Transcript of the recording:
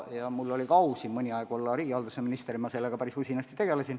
Mul oli au mõni aeg ka siis olla riigihalduse minister ja ma tegelesin sellega päris usinasti.